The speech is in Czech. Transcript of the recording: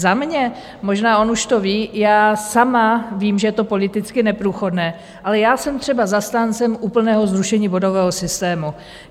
Za mě - možná on už to ví, já sama vím, že je to politicky neprůchodné - ale já jsem třeba zastáncem úplného zrušení bodového systému.